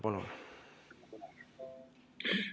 Palun!